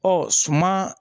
Ɔ suma